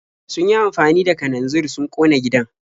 Sun yi amfani da kananzir sun ƙona gidan.